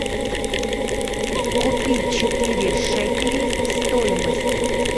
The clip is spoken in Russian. купить четыре шекелей стоимость